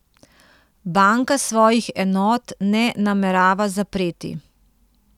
Banka svojih enot ne namerava zapreti.